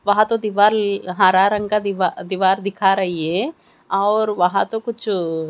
वहां तो दीवार हरा रंग का दीवा दीवार दिखा रही है और वहां तो कुछ--